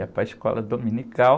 Ia para a escola dominical...